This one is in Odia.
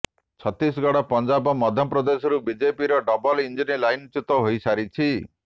ଛତିଶଗଡ଼ ପଞ୍ଜାବ ମଧ୍ୟପ୍ରଦେଶରୁ ବିଜେପିର ଡବଲ ଇଞ୍ଜିନ୍ ଲାଇନ୍ଚୁ୍ୟତ ହୋଇ ସାରିଛି